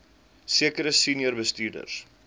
sekere senior bestuurders